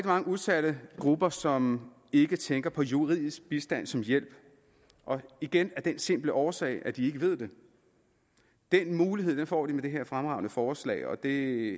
mange udsatte grupper som ikke tænker på juridisk bistand som hjælp igen af den simple årsag at de ikke ved det den mulighed får de med det her fremragende forslag og det